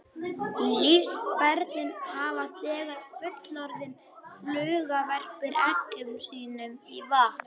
Lífsferillinn hefst þegar fullorðin fluga verpir eggjum sínum í vatn.